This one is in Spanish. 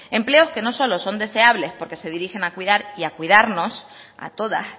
empleos que no solo son deseables porque se dirigen a cuidar y a cuidarnos a todas